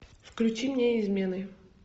включи мне измены